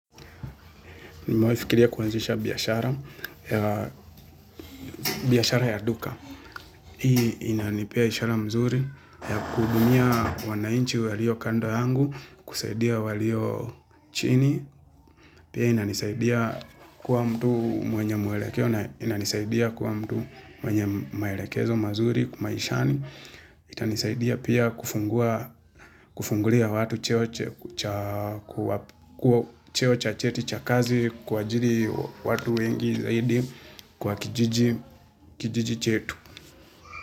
Umewahi kufikiria kuanzisha biashara, biashara ya duka. Hii inanipia ishara mzuri ya kuhudumia wananchi walio kando yangu, kusaidia walio chini. Pia inanisaidia kuwa mtu mwenye mwelekeo na inanisaidia kuwa mtu mwenye maelekezo mazuri, maishani. Itanisaidia pia kufungulia watu cheo cha cheti cha kazi kuajiri watu wengi zaidi kwa kijiji chetu.